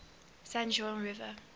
san juan river